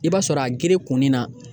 I b'a sɔrɔ a gere kunnin na